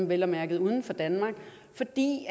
vel at mærke dem uden for danmark for det